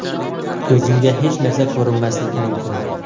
Ko‘zimga hech narsa ko‘rinmasligi mumkin.